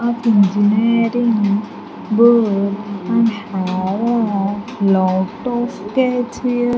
Of engineering board and have a lot of stage fear.